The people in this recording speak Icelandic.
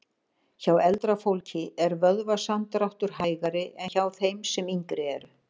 Hjá eldra fólki er vöðvasamdráttur hægari en hjá þeim sem yngri eru.